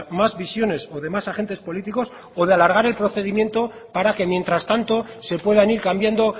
más visiones o demás agentes políticos o de alargas el procedimiento para que mientras tanto se puedan ir cambiando